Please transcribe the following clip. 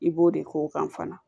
I b'o de k'o kan fana